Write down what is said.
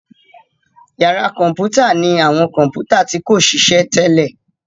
Yàrá kọ̀mpútà ní àwọn kọ̀mpútà tí kòṣiṣẹ́ tẹ́lẹ̀.